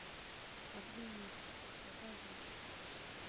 оглянись покажи